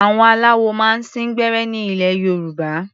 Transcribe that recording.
Àwọn aláwo máa ń sín gbẹ́rẹ́ ní ilẹ̀ Yorùbá.